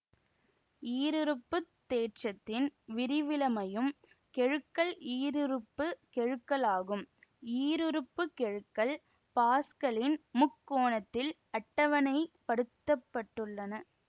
ஈருறுப்பு தேற்றத்தின் விரிவிலமையும் கெழுக்கள் ஈருறுப்பு கெழுக்களாகும் ஈருறுப்பு கெழுக்கள் பாஸ்கலின் முக்கோணத்தில் அட்டவணைப் படுத்தப்பட்டுள்ளன